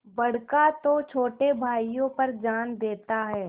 बड़का तो छोटे भाइयों पर जान देता हैं